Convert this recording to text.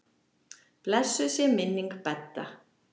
Blessuð sé minning Bedda.